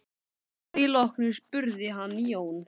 Að því loknu spurði hann Jón